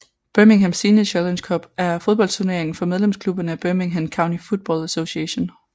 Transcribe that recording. Birmingham Senior Challenge Cup er en fodboldturnering for medlemsklubberne af Birmingham County Football Association